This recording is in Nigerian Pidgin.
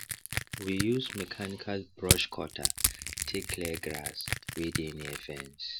we use mechanical brush cutter take clear grass wey dey near fence